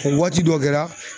O waati dɔ kɛra